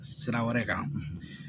Sira wɛrɛ kan